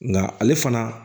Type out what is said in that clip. Nka ale fana